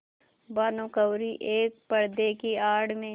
भानुकुँवरि एक पर्दे की आड़ में